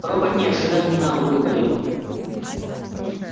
робот неожиданно выпалил